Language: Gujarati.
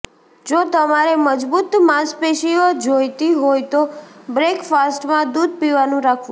જો તમારે મજબૂત માસપેશીઓ જોઈતી હોય તો બ્રેકફાસ્ટમાં દૂઘ પીવાનું રાખવું